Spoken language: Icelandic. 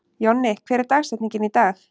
Jonni, hver er dagsetningin í dag?